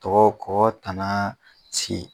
kɔgɔ kɔgɔ tanna sigi.